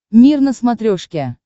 мир на смотрешке